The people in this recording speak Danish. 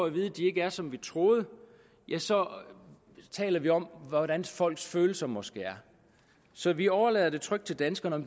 at vide at de ikke er som vi troede så taler vi om hvordan folks følelser måske er så vi overlader trygt til danskerne at